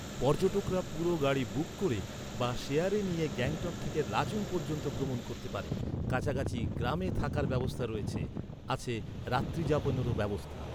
পর্যটকরা পুরো গাড়ি বুক ক’রে বা শেয়ারে নিয়ে গ্যাংটক থেকে লাচুং পর্যন্ত ভ্রমণ করতে পারে। কাছাকাছি গ্রামে থাকার ব্যবস্থা রয়েছে। আছে রাত্রিযাপনের ব্যবস্থাও।